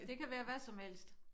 Det kan være hvad som helst